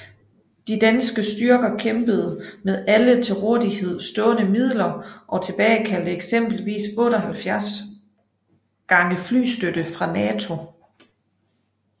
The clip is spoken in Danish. De danske styrker kæmpede med alle til rådighed stående midler og tilkaldte eksempelvis 78 gange flystøtte fra NATO